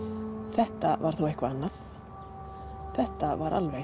þetta var þó eitthvað annað þetta var alveg